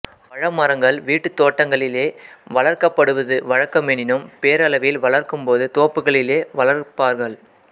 பழ மரங்கள் வீட்டு த் தோட்டங்களிலே வளர்க்கப்படுவது வழக்கமெனினும் பேரளவில் வளர்க்கும்போது தோப்புகளிலே வளர்ப்பார்கள்